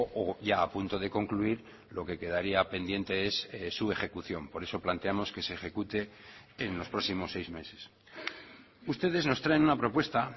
o ya a punto de concluir lo que quedaría pendiente es su ejecución por eso planteamos que se ejecute en los próximos seis meses ustedes nos traen una propuesta